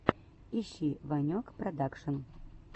ищи ванек продакшн